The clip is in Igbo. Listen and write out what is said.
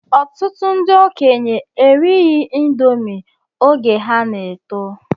Ọtụtụ ndị okenye erighi índomi oge ha na-eto